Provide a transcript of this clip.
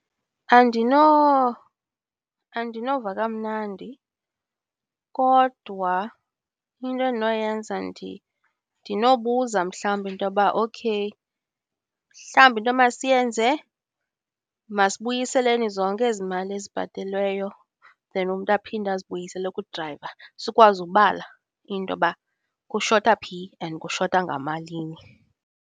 Andinova kamnandi, kodwa into endinoyenza ndinobuza mhlawumbi intoba okay mhlawumbi into emasiyenze masibuyiseleni zonke ezi mali ezibhatelweyo then umntu aphinde azibuyisele kudrayiva. Sikwazi ubala into yoba kushota phi and kushota ngamalini.